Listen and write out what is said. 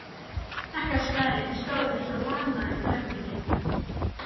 Krakkaskarinn stóð eins og lamaður í brekkunni.